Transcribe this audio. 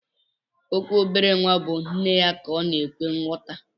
Okwu obere nwa bu nneya ka ọnaka ekwe nyọta.